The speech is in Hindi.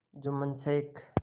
जुम्मन शेख